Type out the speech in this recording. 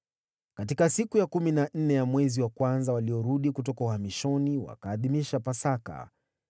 Katika siku ya kumi na nne ya mwezi wa kwanza, waliorudi kutoka uhamishoni wakaadhimisha Pasaka.